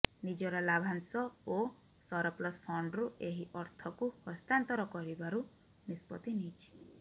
ନିଜର ଲାଭାଶଂ ଓ ସରପ୍ଲସ ଫଣ୍ଡରୁ ଏହି ଅର୍ଥକୁ ହସ୍ତାନ୍ତର କରିବାରୁ ନିଷ୍ପତ୍ତି ନେଇଛି